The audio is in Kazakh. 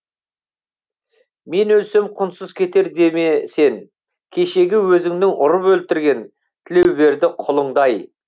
мен өлсем құнсыз кетер деме сен кешегі өзіңнің ұрып өлтірген тілеуберді құлыңдай